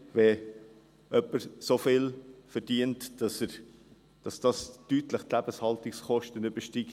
Wenn jemand so viel verdient, dass es die Lebenshaltungskosten deutlich übersteigt: